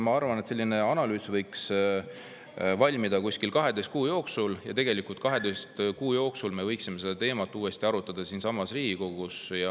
Ma arvan, et analüüs võiks valmida kuskil 12 kuu jooksul, ja tegelikult 12 kuu pärast me võiksime seda teemat uuesti arutada siinsamas Riigikogus.